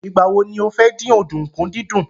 Ìgbà wo ni o fẹ́ dín ọ̀dùnkún dídún?